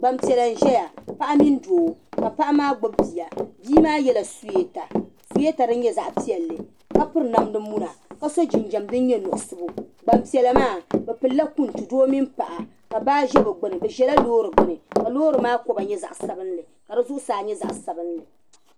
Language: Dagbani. Gban piɛla n ʒɛya paɣa mini doo ka paɣa maa gbubi biya bii maa yela suweta suweta din nyɛ zaɣi piɛli ka piri namdi muna kaso jinjam din nyɛ muɣisigu gban piɛla maa bi pilila kuŋtu doo mini paɣa ka baa ʒɛ bi gbuni bi ʒɛla lɔɔri gbuni ka lɔɔri maa koba nyɛ zaɣi sabinli ka di zuɣu saa nyɛ zaɣi sabinli.